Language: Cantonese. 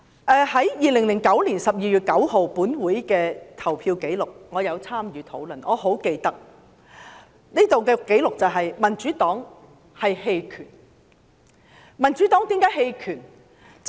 根據2009年12月9日本會的投票紀錄——我曾參與討論，因此很記得——民主黨投了棄權票。